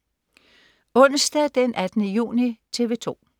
Onsdag den 18. juni - TV 2: